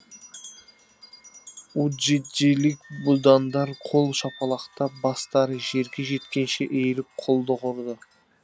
уджиджилік будандар қол шапалақтап бастары жерге жеткенше иіліп құлдық ұрды